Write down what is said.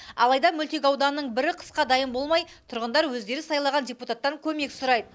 алайда мөлтек ауданның бірі қысқа дайын болмай тұрғындар өздері сайлаған депутаттан көмек сұрайды